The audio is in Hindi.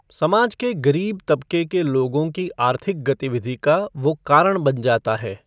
समाज के गरीब तबके के लोगों की आर्थिक गतिविधि का वो कारण बन जाता है।